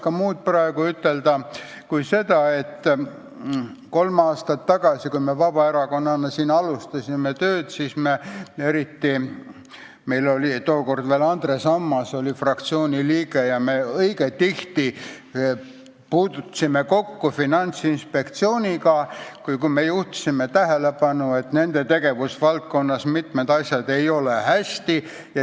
Ma ei oska praegu ütelda muud kui seda, et kolm aastat tagasi, kui me Vabaerakonnana siin tööd alustasime, siis oli ka Andres Ammas fraktsiooni liige ja me õige tihti puutusime kokku Finantsinspektsiooniga, kui me juhtisime tähelepanu, et nende tegevusvaldkonnas ei ole mitmed asjad hästi.